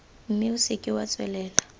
mme o seke wa tswelela